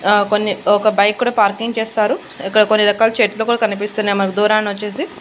ఆ కొన్ని ఒక బైక్ కూడా పార్కింగ్ చేశారు ఇక్కడ కొన్ని రకాల చెట్లు కూడా కనిపిస్తున్నాయి మనకు దూరాన వచ్చేసి.